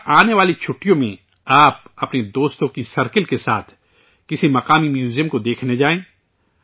کیوں نہ آنے والی چھٹیوں میں، آپ، اپنے دوستوں کے گروہ کے ساتھ، کسی مقامی میوزیم کو دیکھنے جائیں